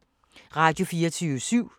Radio24syv